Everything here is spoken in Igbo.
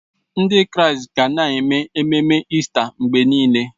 Ndị Kraịst ga na-eme ememe Ista mgbe niile.